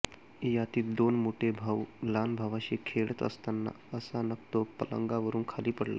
यातील दोन मोठे भाऊ लहान भावाशी खेळत असताना अचानक तो पलंगावरून खाली पडला